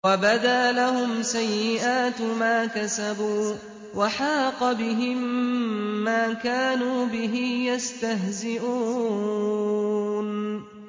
وَبَدَا لَهُمْ سَيِّئَاتُ مَا كَسَبُوا وَحَاقَ بِهِم مَّا كَانُوا بِهِ يَسْتَهْزِئُونَ